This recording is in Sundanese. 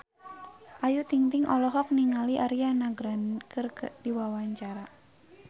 Ayu Ting-ting olohok ningali Ariana Grande keur diwawancara